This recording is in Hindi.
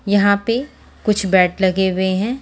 यहां पे कुछ बैट लगे हुए हैं।